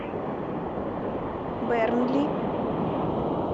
бернли